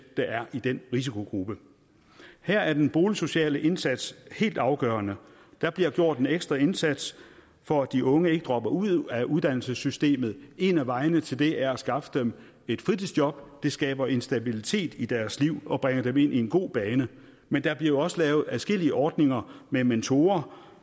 der er i den risikogruppe her er den boligsociale indsats helt afgørende der bliver gjort en ekstra indsats for at de unge ikke dropper ud af uddannelsessystemet en af vejene til det er at skaffe dem et fritidsjob det skaber en stabilitet i deres liv og bringer dem ind i en god bane men der bliver også lavet adskillige ordninger med mentorer